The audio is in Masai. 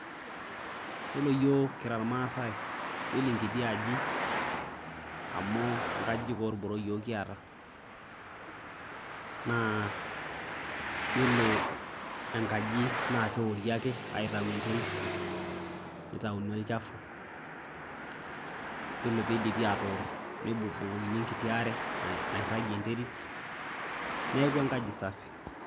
Iyiolo iyiok kira ilmaasai, iyiolo enkiti aji, amu nkajijik olboro iyiok kiata, naa iyolo enkaji naa keori ake aitayu enderit neitayuni olchafu. Iyiolo pee eidipi aator nebukbukokini enkiti are nairagie enderit, neaku enkaji sapuk.